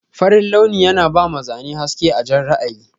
Farin launi yana bama Zane haske a Jan ra'ayi.